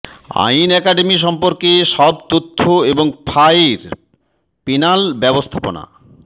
আইন একাডেমী সম্পর্কে সব তথ্য এবং ফাঃ এর পেনাল ব্যবস্থাপনা